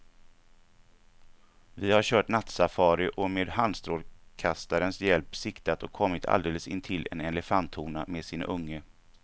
Vi har kört nattsafari och med handstrålkastarens hjälp siktat och kommit alldeles intill en elefanthona med sin unge.